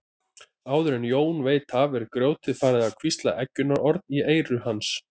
Áður en Jón veit af er grjótið farið að hvísla eggjunarorð í eyru hans.